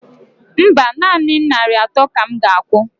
Mba, nanị narị atọ ka m ga akwụ